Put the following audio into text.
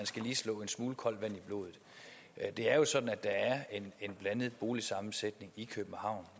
skal slå en smule koldt vand i blodet det er jo sådan at der er en blandet boligsammensætning i københavn